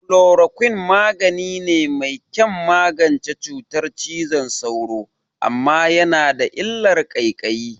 Chloroquine magani ne mai kyan magance cutar cizon sauro, amma yana da illar ƙaiƙayi.